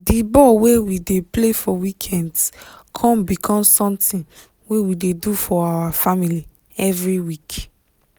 di ball wey we dey play for weekends con become something wey we dey do for our family every week